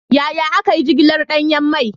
Yaya aka yi jigilar danyen mai?